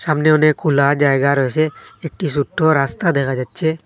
সামনে অনেক খোলা জায়গা রয়েছে একটি ছোট্ট রাস্তা দেখা যাচ্ছে।